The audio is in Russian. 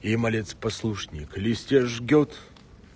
и малец послушник листья жжёт